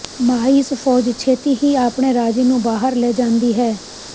mice ਫੌਜ ਛੇਤੀ ਹੀ ਆਪਣੇ ਰਾਜੇ ਨੂੰ ਬਾਹਰ ਲੈ ਜਾਂਦੀ ਹੈ